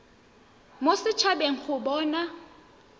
mo set habeng go bona